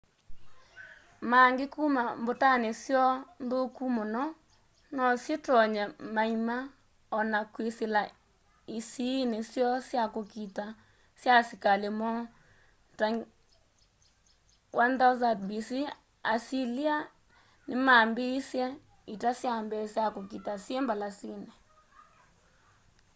maangĩ kũma mbũtanĩ syoo nthũkũ mũno nosyĩtonye maĩma ona kwĩsĩla ĩsĩĩnĩ syoo sya kũkita sya asĩkalĩ moo.ta 1000 b.c. asĩlĩa nĩmambĩĩsye ita syambee sya kũkita syĩ mbalasĩnĩ